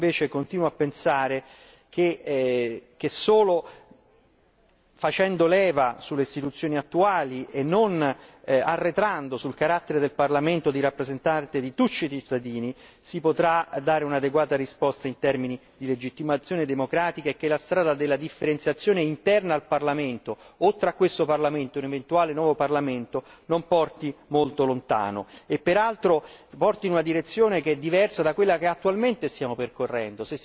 Io invece continuo a pensare che solo facendo leva sulle istituzioni attuali e non arretrando sul carattere del Parlamento di rappresentante di tutti i cittadini, si potrà dare un'adeguata risposta in termini di legittimazione democratica e che la strada della differenziazione interna al Parlamento, oltre a questo Parlamento, un eventuale nuovo Parlamento, non porti molto lontano e peraltro porti in una direzione che è diversa da quella che attualmente stiamo percorrendo.